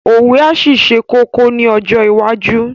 Òwe á ṣì ṣe kókó ní ọjọ́ iwájú